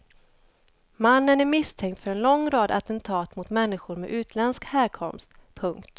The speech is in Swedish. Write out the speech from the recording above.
Mannen är misstänkt för en lång rad attentat mot människor med utländsk härkomst. punkt